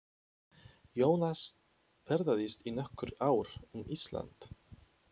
Jónas ferðaðist í nokkur ár um Ísland.